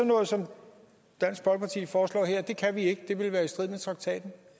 noget som dansk folkeparti foreslår her kan vi ikke det ville være i strid med traktaten